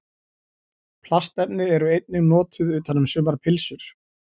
Plastefni eru einnig notuð utan um sumar pylsur.